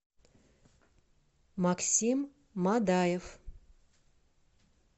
максим мадаев